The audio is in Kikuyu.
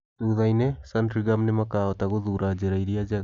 Thutha-inĩ Sandringham nĩ makahota gũthuura njĩra ĩrĩa njega.